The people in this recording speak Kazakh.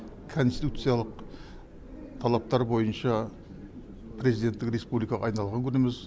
конституциялық талаптар бойынша президенттік республикаға айналған күніміз